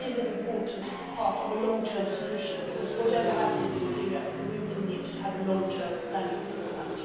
However, it is an important part of a long term solution, because whatever happens in Syria, we will need to have a long term plan for it.